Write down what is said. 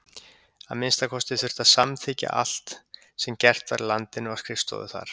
Að minnsta kosti þurfti að samþykkja allt sem gert var í landinu á skrifstofu þar.